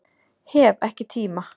Hef ekki tíma